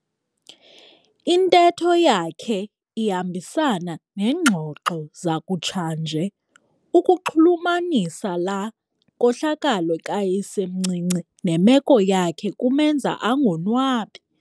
Intetho yakhe ihambisana neengxoxo zakutshanje. Ukuxhulumanisa laa nkohlakalo kayisemncinci nemeko yakhe kumenza angonwabi.